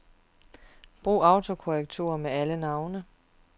Brug autokorrektur ved alle navne.